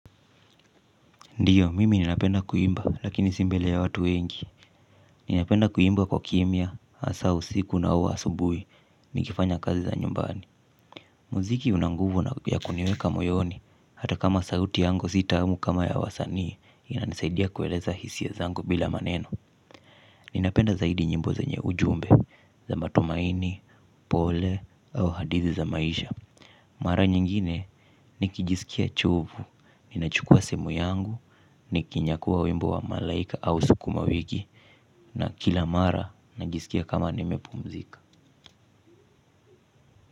Ndiyo, mimi ninapenda kuimba, lakini si mbele ya watu wengi. Ninapenda kuimba kwa kimya, hasa, usiku, au, asubuhi, nikifanya kazi za nyumbani. Muziki una nguvu yakuniweka moyoni, hata kama sauti yangu si tamu kama ya wasanii, inanisaidia kueleza hisia zangu bila maneno. Ninapenda zaidi nyimbo zenye ujumbe, za matumaini, pole, au hadithi za maisha. Mara nyingine nikijisikia chovu, ninachukua simu yangu, nikinyakua wimbo wa malaika au sukuma wiki. Na kila mara najisikia kama nimepumzika.